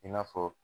I n'a fɔ